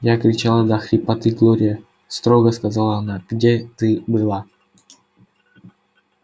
я кричала до хрипоты глория строго сказала она где ты была